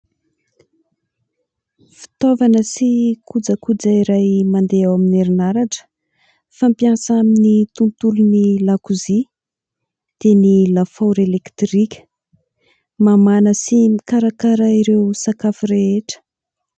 Fitaovana sy kojakoja iray mandeha amin'ny herinaratra fampiasa amin'ny tontolon'ny lakozia dia ny lafaoro elektrika ; mamana sy mikarakara ireo sakafo rehetra.